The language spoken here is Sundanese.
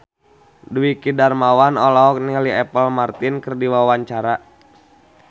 Dwiki Darmawan olohok ningali Apple Martin keur diwawancara